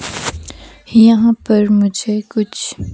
यहां पर मुझे कुछ--